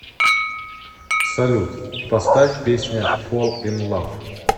салют поставь песня фол ин лав